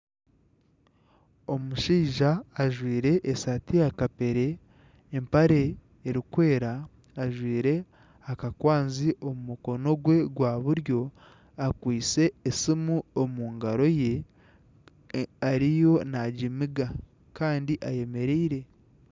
Omushaija ajwaire esaati yaakapere, empare erikwera, ajwaire akakwazi omu mukono gwe buryo, akwaitse esiimu omu ngaro ze ariyo naagimiga kandi ayemereire